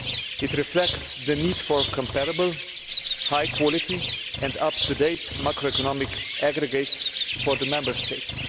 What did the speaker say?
It reflects the need for comparable high quality and up to date macroeconomic aggregates for the Member States.